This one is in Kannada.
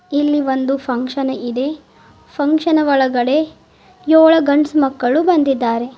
ಇಲ್ಲಿ ಒಂದು ಫಂಕ್ಷನ್ ಇದೆ ಫಂಕ್ಷನ್ ಒಳಗಡೆ ಏಳು ಗಂಡ್ಸ್ ಮಕ್ಕಳು ಬಂದಿದ್ದಾರೆ.